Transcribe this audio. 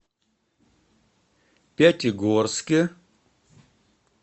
пятигорске